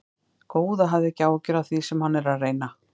Góða, hafðu ekki áhyggjur af því sem hann er að reyna.